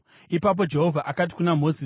Ipapo Jehovha akati kuna Mozisi,